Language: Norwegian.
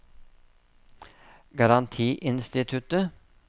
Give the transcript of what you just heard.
garantiinstituttet